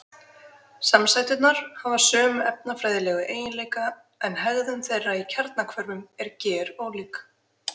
Samsæturnar hafa sömu efnafræðilegu eiginleika en hegðun þeirra í kjarnahvörfum er gerólík.